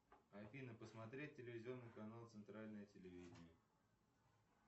афина посмотреть телевизионный канал центральное телевидение